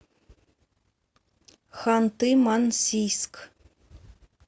ханты мансийск